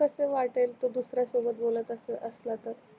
कस वाटेल तो दुसऱ्या सोबत बोलत असल्य असला तर